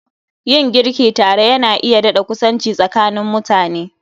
Yin girki tare Yana iya dadakusanci tsakanin mutane